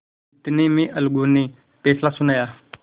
इतने में अलगू ने फैसला सुनाया